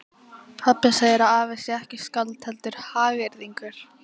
Pabbi segir að afi sé ekki skáld heldur hagyrðingur.